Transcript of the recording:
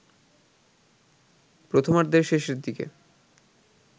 প্রথমার্ধের শেষের দিকে